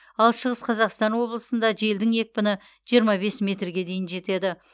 ал шығыс қазақстан облысында желдің екпіні жиырма бес метрге дейін жетеді